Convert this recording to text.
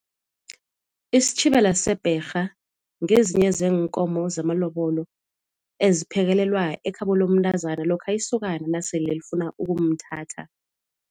Isitjhibela sebherha, ngezinye zeenkomo zamalobolo eziphekelelwa ekhabo lomntazana lokha isokana nasele lifuna ukumthatha.